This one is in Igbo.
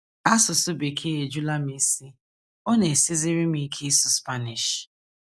Asụsụ Bekee ejula m isi. Ọ na - esiziri m ike ịsụ Spanish. ”